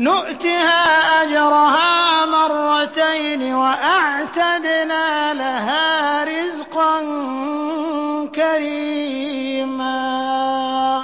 نُّؤْتِهَا أَجْرَهَا مَرَّتَيْنِ وَأَعْتَدْنَا لَهَا رِزْقًا كَرِيمًا